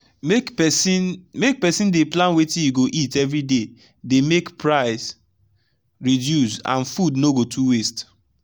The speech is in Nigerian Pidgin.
make person make person dey plan wetin e go eat everyday dey make price reduce and food no go too waste